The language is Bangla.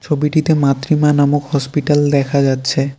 ছবিটিতে মাত্রিমা নামক হসপিটাল দেখা যাচ্ছে।